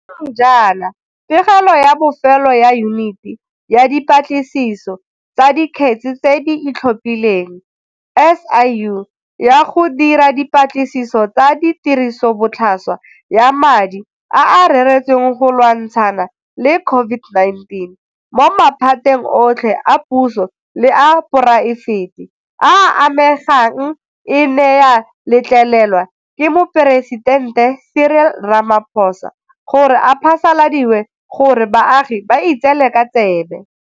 Sešweng jaana pegelo ya bofelo ya Yuniti ya Dipatlisiso tsa Dikgetse tse di Itlhophileng, SIU, ya go dira dipatlisiso tsa tirisobotlhaswa ya madi a a reretsweng go lwantshana le COVID-19 mo maphateng otlhe a puso le a poraefete a a amegang e ne ya letlelelwa ke Moporesitente Cyril Ramaphosa gore e phasaladiwe gore baagi ba itseele ka tsebe.